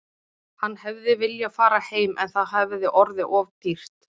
Hann hefði viljað fara heim en það hefði orðið of dýrt.